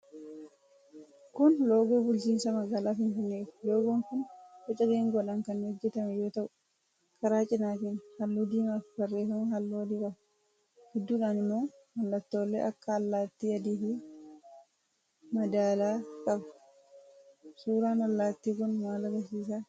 Kun loogoo bulchiinsa magaalaa Finfinneeti. Loogoon kun boca geengoodhaan kan hojjetame yoo ta'u, karaa cinaatiin halluu diimaafi barreeffama halluu adii qaba. Gidduudhaan immoo mallattoolee akka allaattii adiifi madaalaa qaba. Suuraan allaattii kun maal agarsiisa?